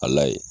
Ala ye